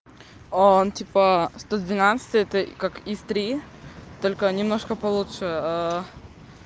он типа сто двенадцатый это как ис три только немножко получше